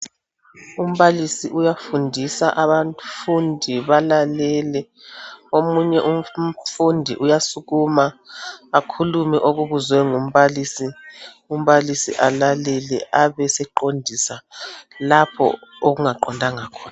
Umbalisi uyafundisa abafundi balalele. Omunye umfundi uyasukuma akhulume okubuzwe ngu mbalisi, umbalisi alalele abeseqondisa lapho okungaqondanga khona